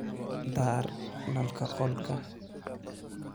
Daar nalka qolka.